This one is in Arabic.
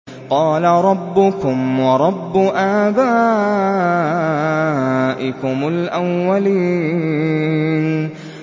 قَالَ رَبُّكُمْ وَرَبُّ آبَائِكُمُ الْأَوَّلِينَ